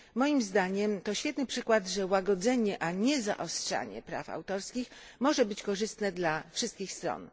Moim zdaniem, to świetny przykład tego, że łagodzenie, a nie zaostrzanie praw autorskich, może być korzystne dla wszystkich stron.